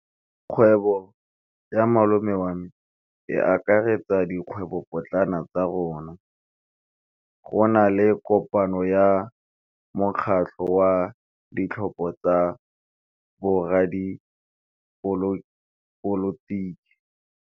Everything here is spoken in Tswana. Kgwêbô ya malome wa me e akaretsa dikgwêbôpotlana tsa rona. Go na le kopanô ya mokgatlhô wa ditlhopha tsa boradipolotiki.